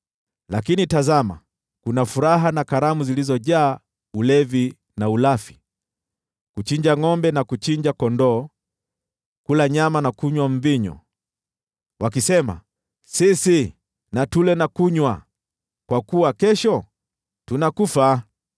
Lakini tazama, kuna furaha na sherehe, kuchinja ngʼombe na kuchinja kondoo, kula nyama na kunywa mvinyo! Mnasema, “Tuleni na kunywa, kwa kuwa kesho tutakufa!”